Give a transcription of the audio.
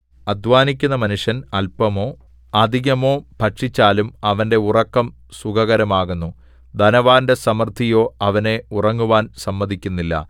അദ്ധാനിക്കുന്ന മനുഷ്യൻ അല്പമോ അധികമോ ഭക്ഷിച്ചാലും അവന്റെ ഉറക്കം സുഖകരമാകുന്നു ധനവാന്റെ സമൃദ്ധിയോ അവനെ ഉറങ്ങുവാൻ സമ്മതിക്കുന്നില്ല